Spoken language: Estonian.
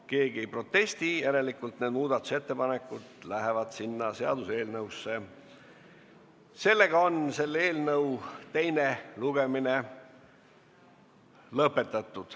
Keegi ei protesti, järelikult lähevad need muudatusettepanekud seaduseelnõusse.